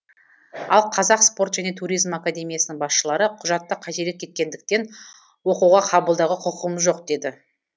ал қазақ спорт және туризм академиясының басшылары құжатта қателік кеткендіктен оқуға қабылдауға құқығымыз жоқ деді